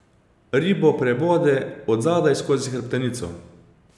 Ribo prebode od zadaj skozi hrbtenico.